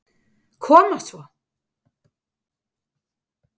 Koma svo!